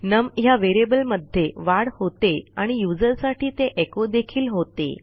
नम ह्या व्हेरिएबल मध्ये वाढ होते आणि यूझर साठी ते एचो देखील होते